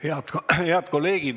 Head kolleegid!